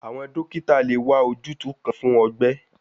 Awọn dokita le wa ojutu kan fun ọgbẹ